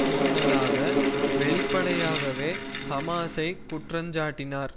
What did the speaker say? முன்னதாக வெளிப்படையாகவே ஹமாஸை குற்றஞ்சாட்டினார்